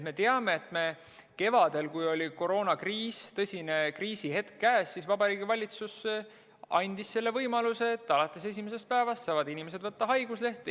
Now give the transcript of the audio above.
Me teame, et kevadel, kui oli koroonakriis, tõsine kriisihetk käes, siis Vabariigi Valitsus andis selle võimaluse, et alates esimesest päevast saavad inimesed võtta haiguslehte.